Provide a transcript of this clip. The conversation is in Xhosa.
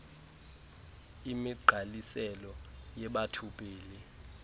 imigqaliselo yebatho pele